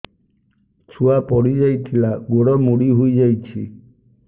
ଛୁଆ ପଡିଯାଇଥିଲା ଗୋଡ ମୋଡ଼ି ହୋଇଯାଇଛି